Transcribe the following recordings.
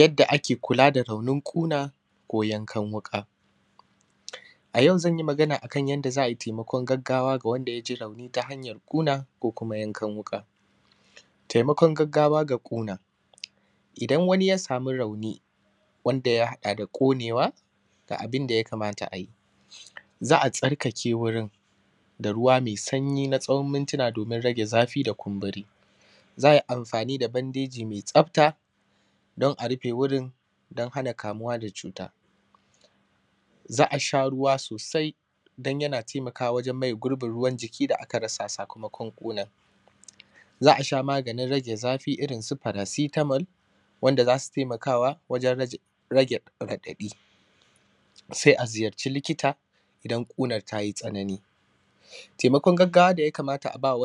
Yadda ake kulaˋ da raunin kunaˋ ko yan kan wuƙaˋ. A yau zan yi maganaˋ akan yandaˋ za ai taimakon gagawaˋ akan wandaˋ ya ji rauniˋ ta hanyar ƙunaˋ ko kumaˋ yankan wukaˋ. Taimakon gagawaˋ ga ƙunaˋ, idan waniˋ ya samuˋ rauniˋ wandaˋ yaddaˋ da konewaˋ ga abindaˋ ya kamataˋ ayi. Za a tsarkakeˋ wurin da ruwaˋ mai sanyˋi tsohon mintunaˋ domin rageˋ zafiˋ da kumburiˋ, za a yi amfaniˋ da bandejiˋ mai tsaftaˋ don a rufeˋ wurin don hanaˋ kamuwaˋ da cutaˋ, za a sha ruwaˋ sosai don yanaˋ taimakawaˋ wajen mayeˋ gurbin ruwan jikiˋ da aka rasaˋ sakamakon kunan, za a sha maganin rageˋ zafiˋ irin su farasitamal wandaˋ za suˋ taimakaˋ wajen rageˋ radadiˋ zafiˋ irin su farasitamal wandaˋ za suˋ taimakaˋ wajen rageˋ radadiˋc ko kumaˋ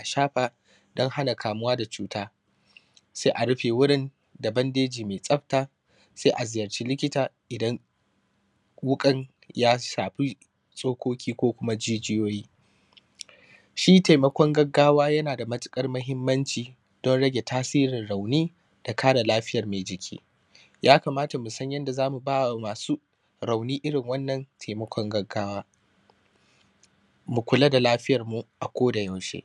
a shafaˋ don hanaˋ kamuwaˋ da cutaˋ, sai a rufeˋ wurin da bandejiˋ mai tsaftaˋ, sai a ziyarciˋ likitaˋ idan wukan ya shafiˋ tsokokiˋ ko kumaˋ jijiyoyiˋ. Shi taimakon gagawaˋ yanaˋ da matukar ko kumaˋ jijiyoyiˋ. Shi taimakon gagawaˋ yanaˋ da matukar mahimmanciˋ don rageˋ tasirin rauniˋ da kareˋ lafiyar mai jikiˋ. Ya kamataˋ mu san yandaˋ zamuˋ bawaˋ masuˋ rauniˋ irin wannan taimakon gagawaˋ, mu kulaˋ da lafiyarmuˋ a ko da yaushe.